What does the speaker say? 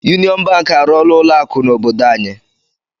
Yuniọn Bank arụọla ụlọ akụ n'obodo anyị.